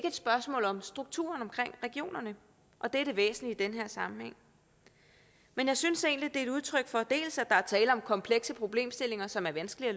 et spørgsmål om strukturen omkring regionerne og det er det væsentlige i den her sammenhæng jeg synes er et udtryk for at der er tale om komplekse problemstillinger som er vanskelige